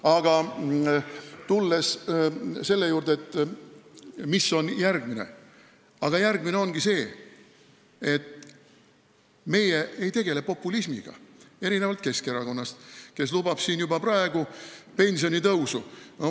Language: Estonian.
Aga tulles selle juurde, mis on järgmine, siis järgmine ongi see, et meie ei tegele populismiga, erinevalt Keskerakonnast, kes lubab juba praegu pensionitõusu.